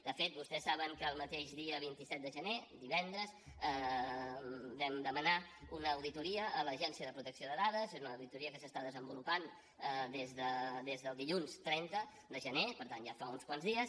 de fet vostès saben que el mateix dia vint set de gener divendres vam demanar una auditoria a l’agència de protecció de dades és una auditoria que s’està desenvolupant des del dilluns trenta de gener per tant ja fa uns quants dies